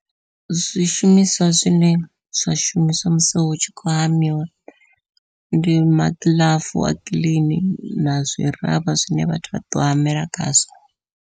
Zwishumiswa zwine zwa shumiswa musi hu tshi khou hamiwa, ndi magiḽafu a kiḽini nazwi ravha zwine vhathu vha ḓo hamela khazwo.